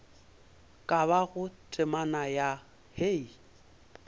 ka bago temana ya hei